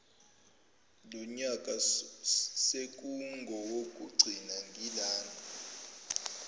lonyaka sekungowokugcina ngilana